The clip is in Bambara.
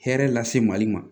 Hɛrɛ lase mali ma